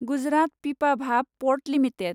Gujarat Pipavav port limited